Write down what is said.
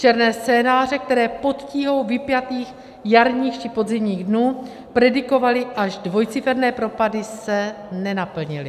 Černé scénáře, které pod tíhou vypjatých jarních či podzimních dnů predikovaly až dvojciferné propady, se nenaplnily.